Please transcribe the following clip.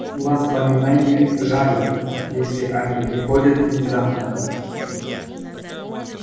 воспоминания жалят если они приходят внезапно